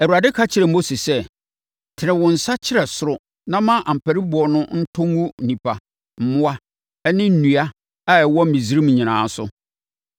Awurade ka kyerɛɛ Mose sɛ, “Tene wo nsa kyerɛ ɔsoro na ma ampariboɔ no ntɔ ngu nnipa, mmoa ne nnua a ɛwɔ Misraiman nyinaa so.”